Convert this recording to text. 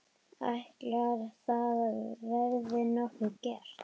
Ætli það verði nokkuð gert?